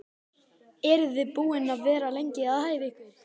Eru þið búin að vera lengi að æfa ykkur?